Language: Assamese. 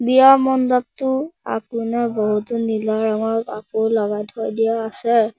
বিয়া মণ্ডপটো আগপিনে বহুতো নীলা ৰঙৰ কাপোৰ লগাই থৈ দিয়া আছে।